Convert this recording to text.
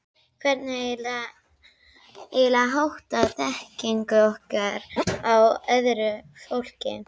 Hvernig er eiginlega háttað þekkingu okkar á öðru fólki?